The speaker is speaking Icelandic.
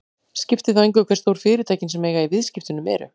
Skiptir þá engu hve stór fyrirtækin sem eiga í viðskiptunum eru.